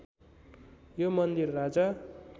यो मन्दिर राजा